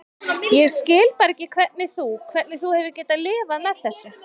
Ég skil bara ekki hvernig þú. hvernig þú hefur getað lifað með þessu.